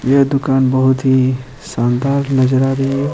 ये दुकान बहुत ही शानदार नजर आ रही है।